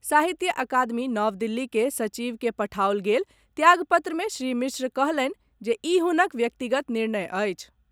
साहित्य अकादमी नव दिल्ली के सचिव के पठाओल गेल त्याग पत्र मे श्री मिश्र कहलनि जे ई हुनक व्यक्तिगत निर्णय अछि।